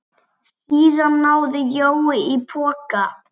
Síðan náði Jói í poka.